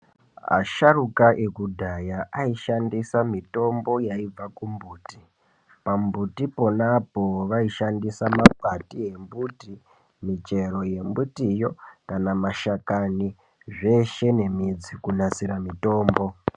Asharuka ekudhaya aishandisa mitombo yaibva kumbuti. Pambuti ponapo waishandisa makwati embuti, michero yembutiyo kana mashakani zveshe nemidzi kunasira mitombo.